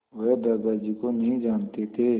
वह दादाजी को नहीं जानते थे